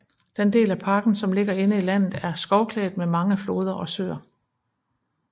Den del af parken som ligger inde i landet er skovklædt med mange floder og søer